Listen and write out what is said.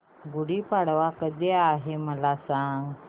गुढी पाडवा कधी आहे मला सांग